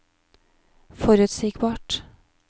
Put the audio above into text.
forutsigbart